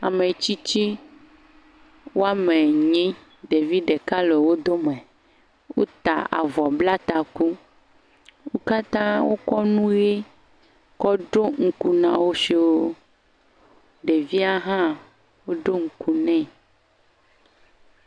Ame tsitsi woame nyi. Ɖevi ɖeka le wo dome. Wota avɔ bla taku. Wo katã wokɔ nyi kɔ ɖo ŋku na wo siwo. Ɖevia hã woɖo ŋku nɛ.